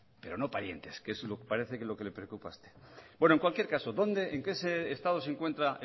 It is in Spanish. pero no parientes que es lo que parece que le preocupa a usted bueno en cualquier caso dónde en qué estado se encuentra